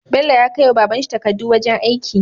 Bello ya kai wa babanshi takkadu wajan aiki